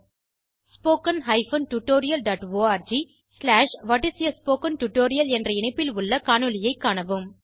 httpspoken tutorialorgவாட் is a spoken tutorial என்ற இணைப்பில் உள்ள காணொளியைக் காணவும்